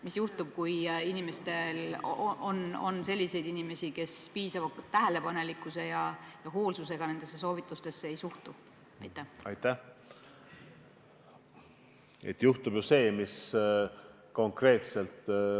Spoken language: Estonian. Mis juhtub selliste inimestega, kes nendesse soovitustesse piisava tähelepanelikkuse ja hoolsusega ei suhtu?